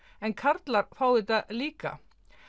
en karlar fá þetta líka